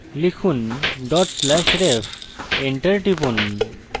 লিখুন/ref dot slash ref enter টিপুন